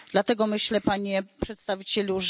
Dlatego myślę Panie Przedstawicielu, że...